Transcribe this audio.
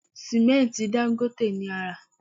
Sìmẹ́ǹtì Dangote ni a rà